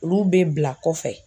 Olu be bila kɔfɛ